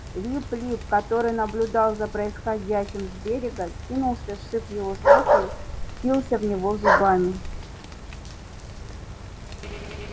лип лип который наблюдал за происходящим с берега кинулся сшиб его с ног и впился в него зубами